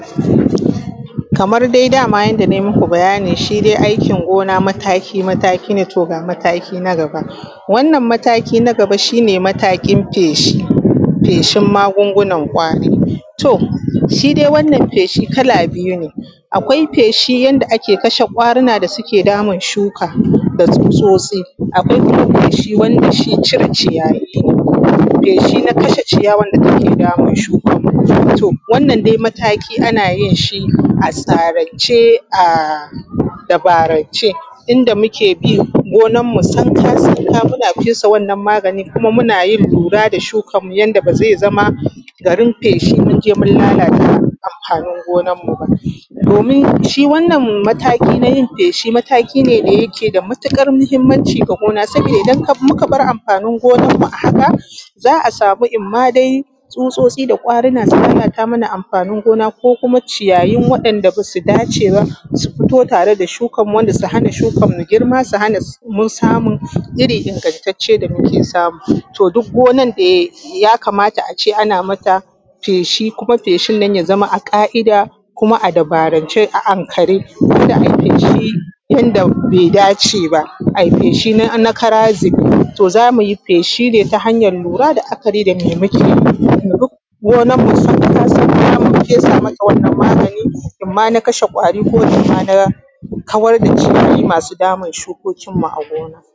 Kamar dai dama yadda nai maku bayani shi dai aikin gona mataki-mataki ne to ga mataaki na gaba. Wannan mataaki na gaba shi ne matakin feshi. feshin magungunan ƙwari. To shi dai wannan feshi kala biyu ne. Akwai feshin yanda ake su ƙwarina da suke damun shuka da tsutsotsi. Akwai kuma feshi wanda shi cire ciyaayi ne, feshi na kashe ciyawan da take damun shuka. To wannan dai mataki ana yin shi a tsarance a dabarance. Inda muke bin gonanmu sanka-sanka muna fesa wannan magani kuma muna yin lura da shukanmu yanda ba zai zama garin feshi mun je mun lalata anfanin gonarmu ba. Domin shi wannan mataki na yin feshi mataki ne da ke da ,matuƙar muhimmanci ga gona saboda idan muka bar anfanin gonarmu a haka, za a samu inma dai tsutsotsi da ƙwarina su lalata mana anfanin gona ko kuma ciyayi waɗanda ba su dace ba su fito tare da shukanmu ko su hana shukanmu girma su hanamu samun iri ingantancce da muke samu. To duk gonan da yakamata a ce ana mata feshi kuma feshin ya zama mai ƙaˀida kuma a dabarance a ankare inda ake ciki ko inda bai dace ba, ai feshi na kara zube. Za mu yi feshi ne ta hanyar lura da la’akari da me muke. Mu bi gonarmu sanka-sanka mu fesa mata wannan magani inma na kashe ƙwaari ko inma na kawar da ciyaayi masu damun shukokinmu a gona.